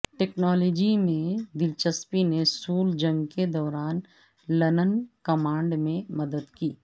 technology میں دلچسپی نے سول جنگ کے دوران لنن کمانڈ میں مدد کی